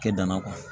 Kɛ danna